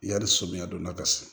Yani samiya donda ka se